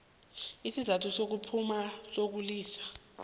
isizathu sokuphuma sokulisa